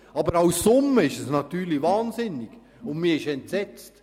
Aber als Summe ist es natürlich wahnsinnig viel, und man ist entsetzt.